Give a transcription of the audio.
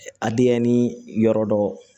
A denyɛrɛni yɔrɔ dɔ